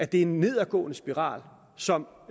det er en nedadgående spiral som